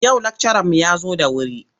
Yau lakcaranmu ya zo da wuri.